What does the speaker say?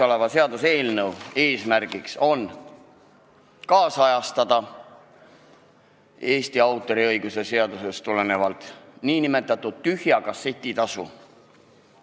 Kõnealuse seaduseelnõu eesmärk on ajakohastada Eesti autoriõiguse seadusest tulenevat nn tühja kasseti tasu.